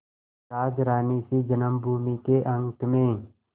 राजरानीसी जन्मभूमि के अंक में